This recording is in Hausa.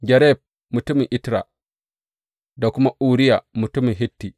Gareb, mutumin Itra, da kuma Uriya, mutumin Hitti.